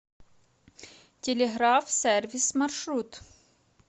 телеграф сервис маршрут